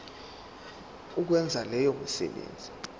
ukwenza leyo misebenzi